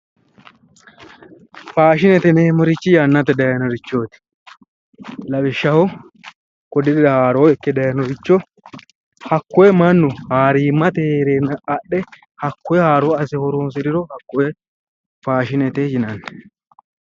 faashinete yineemmorichi yannate dayiinorichooti lawishshaho kodirira haaroo ikke dayiinoricho hakkoye mannu haariimmate heereenna adhe hakkoye haaro asse horonsiriro hakkoye faashinete yinanni.